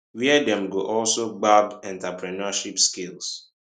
wia dem go also gbab entrepreneurship skills